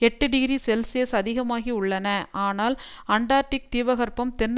எட்டு degree Celsius அதிகமாகி உள்ளன ஆனால் ஆண்டார்டிக் தீபகற்பம் தென்